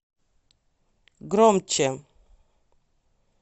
громче